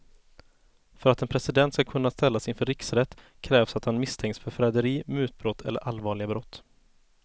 För att en president ska kunna ställas inför riksrätt krävs att han misstänks för förräderi, mutbrott eller allvarliga brott.